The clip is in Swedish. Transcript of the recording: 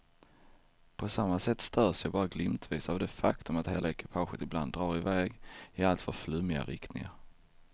På samma sätt störs jag bara glimtvis av det faktum att hela ekipaget ibland drar i väg i alltför flummiga riktningar.